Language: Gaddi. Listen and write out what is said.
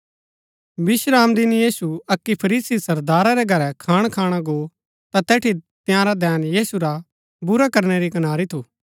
विश्रामदिन यीशु अक्की फरीसी सरदारा रै घरै खाण खाणा गो ता तैठी तंयारा धैन यीशु रा बुरा करनै री कनारी थू